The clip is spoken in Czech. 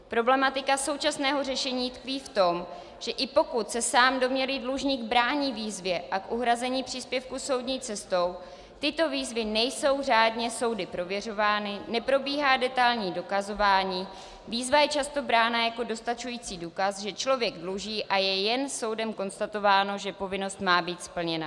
Problematika současného řešení tkví v tom, že i pokud se sám domnělý dlužník brání výzvě a k uhrazení příspěvku soudní cestou, tyto výzvy nejsou řádně soudy prověřovány, neprobíhá detailní dokazování, výzva je často brána jako dostačující důkaz, že člověk dluží, a je jen soudem konstatováno, že povinnost má být splněna.